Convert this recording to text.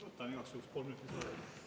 Võtan igaks juhuks kolm minutit juurde.